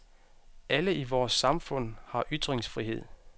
Alle i vores samfund har ytringsfrihed.